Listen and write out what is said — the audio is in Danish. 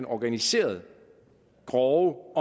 organiserede grove